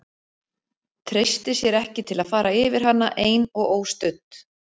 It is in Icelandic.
Treysti sér ekki til að fara yfir hana ein og óstudd.